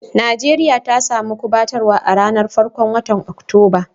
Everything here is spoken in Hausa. Nijeriya ta samu kubatarswa a'ranan farkon wotan Oktoba.